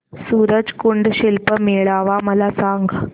सूरज कुंड शिल्प मेळावा मला सांग